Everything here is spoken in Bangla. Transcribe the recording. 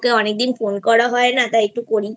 তোকে অনেক দিন ফোন করা হয়নাxa0তাইxa0একটুxa0করি